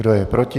Kdo je proti?